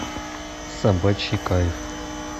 собачий кайф